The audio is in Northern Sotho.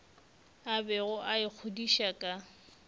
a bego a ikgodiša ka